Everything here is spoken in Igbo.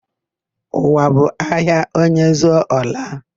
Ụwa bụ ahịa; onye zụcha, ọ laa.